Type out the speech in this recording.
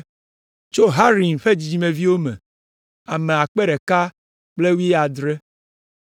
Tso Harim ƒe dzidzimeviwo me, ame akpe ɖeka kple wuiadre (1,017).